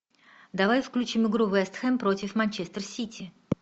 давай включим игру вест хэм против манчестер сити